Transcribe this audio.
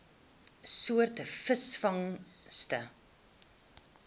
soort visvangste